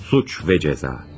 Suç və Cəza.